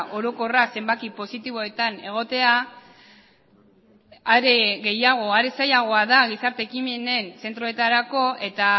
orokorra zenbaki positiboetan egotea are gehiago are zailagoa da gizarte ekimenen zentroetarako eta